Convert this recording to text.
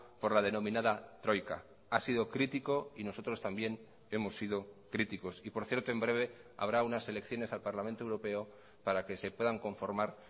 por la denominada troika ha sido crítico y nosotros también hemos sido críticos y por cierto en breve habrá unas elecciones al parlamento europeo para que se puedan conformar